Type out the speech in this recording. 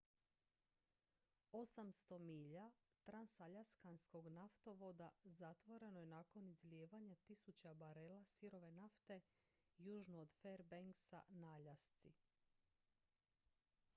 800 milja transaljaskanskog naftovoda zatvoreno je nakon izlijevanja tisuća barela sirove nafte južno od fairbanksa na aljasci